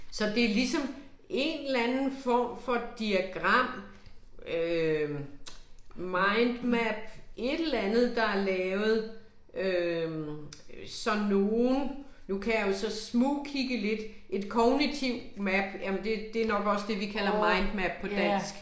Så det ligesom en eller anden form for diagram øh mindmap, et eller andet, der er lavet øh så nogen, nu kan jeg jo så smugkigge lidt, et kognitivt map, jamen det det nok også det, vi kalder mindmap på dansk